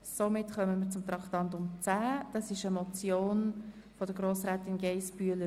Wir fahren somit fort mit Traktandum 10, ebenfalls einer Motion von Frau Geissbühler.